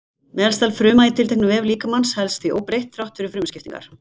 Meðalstærð frumna í tilteknum vef líkamans helst því óbreytt þrátt fyrir frumuskiptingar.